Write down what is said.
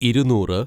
ഇരുനൂറ്